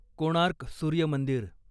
कोणार्क सूर्य मंदिर